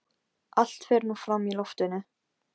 Svona gerum við þetta, sagði hann loks.